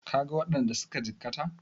Ka ga waɗanda suka jikkata?